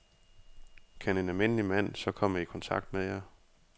Kan en almindelig mand så komme i kontakt med jer?